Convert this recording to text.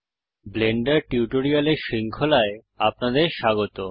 Blender টিউটোরিয়ালের শৃঙ্খলায় আপনাদের স্বাগত